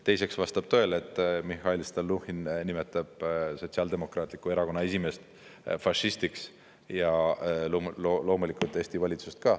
Teiseks, vastab tõele, et Mihhail Stalnuhhin nimetab Sotsiaaldemokraatliku Erakonna esimeest fašistiks ja loomulikult Eesti valitsust ka.